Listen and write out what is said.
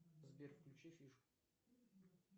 сбер включи фишку